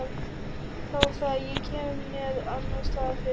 Þá það, ég kem mér annarsstaðar fyrir.